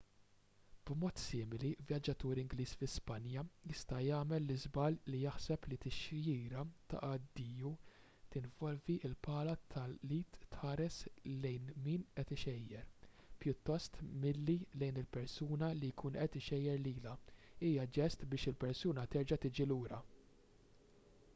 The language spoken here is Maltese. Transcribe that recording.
b’mod simili vjaġġatur ingliż fi spanja jista’ jagħmel l-iżball li jaħseb li tixjira ta’ addiju li tinvolvi l-pala tal-id tħares lejn min qed ixejjer pjuttost milli lejn il-persuna li jkun qed ixejjer lilha hija ġest biex il-persuna terġa’ tiġi lura